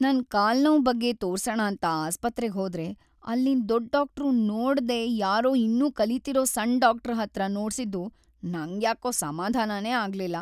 ನನ್‌ ಕಾಲ್‌ ನೋವ್‌ ಬಗ್ಗೆ ತೋರ್ಸಣ ಅಂತ ಆಸ್ಪತ್ರೆಗ್ ಹೋದ್ರೆ ಅಲ್ಲಿನ್ ದೊಡ್ ಡಾಕ್ಟ್ರು ನೋಡ್‌ದೇ ಯಾರೋ ಇನ್ನೂ ಕಲೀತಿರೋ ಸಣ್‌ ಡಾಕ್ಟ್ರ ಹತ್ರ ನೋಡ್ಸಿದ್ದು ನಂಗ್ಯಾಕೋ ಸಮಾಧಾನನೇ ಆಗ್ಲಿಲ್ಲ.